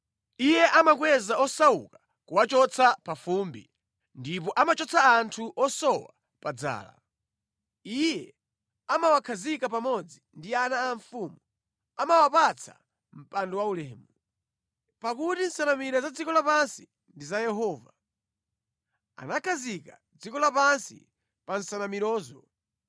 Iye amakweza osauka kuwachotsa pa fumbi, ndipo amachotsa anthu osowa pa dzala. Iye amawakhazika pamodzi ndi ana a mafumu, amawapatsa mpando waulemu. “Pakuti nsanamira za dziko lapansi ndi za Yehova, anakhazika dziko lapansi pa nsanamirazo.